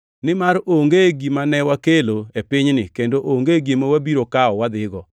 Nimar onge gima ne wakelo e pinyni kendo onge gima wabiro kawo wadhigo.